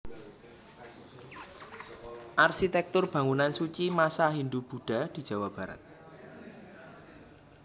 Arsitektur Bangunan Suci Masa Hindu Budha di Jawa Barat